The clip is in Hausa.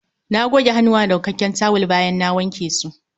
Na goge hannuwana da wankakken tawul bayan na wanke su